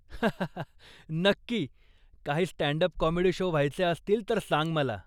हाहा, नक्की! काही स्टँड अप काॅमेडी शो व्हायचे असतील तर सांग मला.